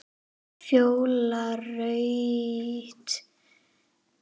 Fjóla Rut.